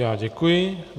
Já děkuji.